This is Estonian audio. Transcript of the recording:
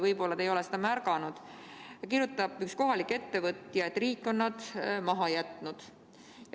Võib-olla te ei ole seda märganud, aga üks kohalik ettevõtja kirjutab, et riik on nad maha jätnud.